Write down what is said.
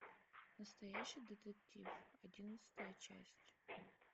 настоящий детектив одиннадцатая часть